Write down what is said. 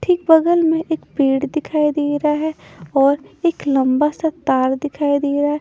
ठीक बगल में एक पेड़ दिखाई दे रहा है और एक लंबा सा तार दिखाई दे रहा है।